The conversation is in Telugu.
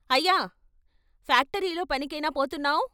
అయ్యా" ఫాక్టరీలో పనికేనా పోతున్నావ్, "